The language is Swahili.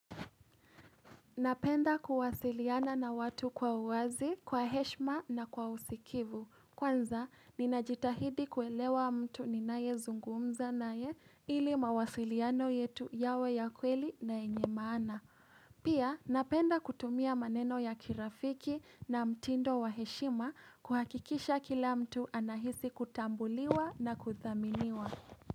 Napenda kuwasiliana na watu kwa uwazi, kwa heshima na kwa usikivu. Kwanza, ninajitahidi kuelewa mtu ninayezungumza naye ili mawasiliano yetu yawe ya kweli na enye maana. Pia, napenda kutumia maneno ya kirafiki na mtindo wa heshima kuhakikisha kila mtu anahisi kutambuliwa na kuthaminiwa.